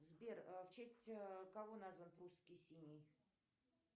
сбер в честь кого назван прусский синий